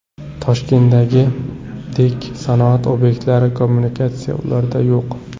Toshkentdagidek sanoat obyektlari, kommunikatsiya ularda yo‘q.